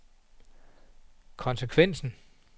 konsekvensen